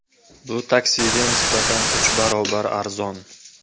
Bu taksiga nisbatan uch barobar arzon.